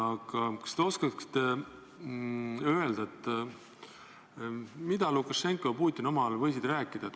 Aga kas te oskate öelda, mida Lukašenka ja Putin omavahel on võinud rääkida?